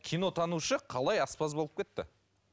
кинотанушы қалай аспаз болып кетті